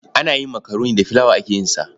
Ana yin makaroni da filawa ake yin sa.